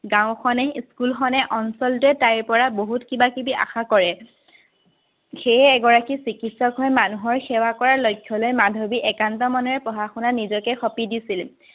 গাঁওখনে স্কুলখনে অঞ্চলটোৱে তাইৰপৰা বহুত কিবা-কিবি আশা কৰে। সেয়ে এগৰাকী সিকিত্সকহৈ মানুহৰ সেৱাৰ লক্ষ্যলৈ মাধৱীয়ে একান্ত মনেৰে পঢ়া-শুনাত নিজকে সপি দিছিল।